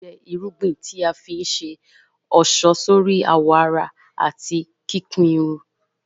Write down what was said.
Làálí jẹ́ irúgbìn tí a fi ń ṣe ọ̀ṣọ́ sórí àwọ̀ ara àti kíkun irun